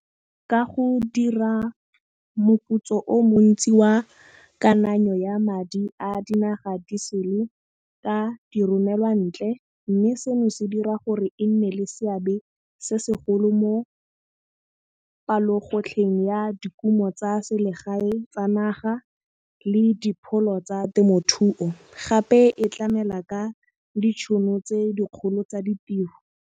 Ka go dira moputso o montsi wa kananyo ya madi a dinaga di sele ka di romelwa ntle, mme seno se dira gore e nne le seabe se segolo mo palogotlheng ya dikumo tsa selegae tsa naga le dipholo tsa temothuo, gape e tlamela ka ditšhono tse dikgolo tsa ditiro.